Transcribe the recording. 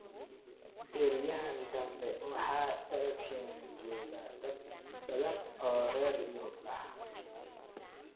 Beryahan danbe waxa dalkeena jooga dad badan oo reer yurub ah